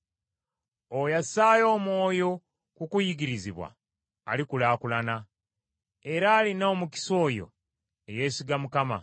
Oyo assaayo omwoyo ku kuyigirizibwa alikulaakulana, era alina omukisa oyo eyeesiga Mukama .